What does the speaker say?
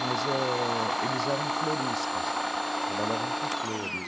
Mas eh... eles eram floristas, trabalhavam com flores.